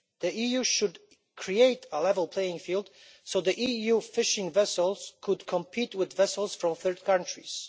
The EU should create a level playing field so that EU fishing vessels can compete with vessels from third countries.